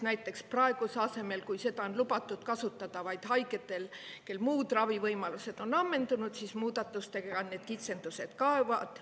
Näiteks praeguse asemel, kui seda on lubatud kasutada vaid haigetel, kellel muud ravivõimalused on ammendunud, siis muudatustega need kitsendused kaovad.